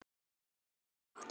Hnappur getur átt við